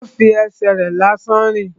Ó fi ẹsẹ̀ rẹ̀ lásán rìn